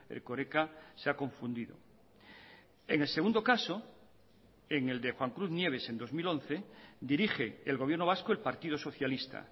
erkoreka se ha confundido en el segundo caso en el de juan cruz nieves en dos mil once dirige el gobierno vasco el partido socialista